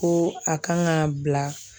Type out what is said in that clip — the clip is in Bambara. Ko a kan ka bila.